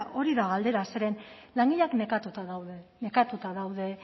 hori da galdera zeren langileak nekatuta daude nekatuta daude